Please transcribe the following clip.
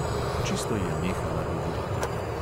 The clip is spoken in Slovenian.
Čisto je nehala govoriti.